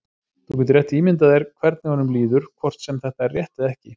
Þú getur rétt ímyndað þér hvernig honum líður, hvort sem þetta er rétt eða ekki.